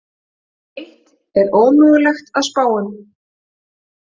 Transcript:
Hitt er ómögulegt að spá um.